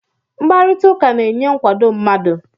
Mkparịta ụka na-enye nkwado mmadụ